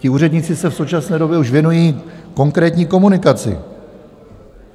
Ti úředníci se v současné době už věnují konkrétní komunikaci.